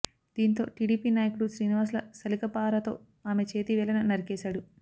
దీంతో టీడీపీ నాయకుడు శ్రీనివాసులు సలిక పారతో ఆమె చేతి వేళ్లను నరికేశాడు